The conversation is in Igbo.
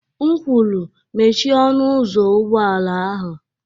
M kwuru, mechie ọnụ ụzọ ụgbọ ala ahụ!